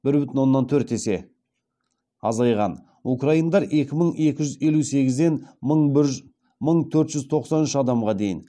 украиндар екі мың екі жүз елу сегізден мың төрт жүз тоқсан үш адамға дейін